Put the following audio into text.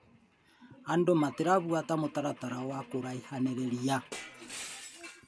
Andũ matirabuata mũtaratara wa kũraihanĩrĩria